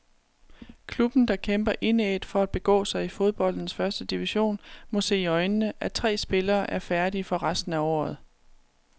Klubben, der kæmper indædt for at begå sig i fodboldenes første division, må se i øjnene, at tre spillere er færdige for resten af året.